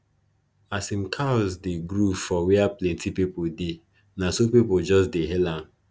as him cows dey groove for where plenti pipo dey na so pipo just dey hail am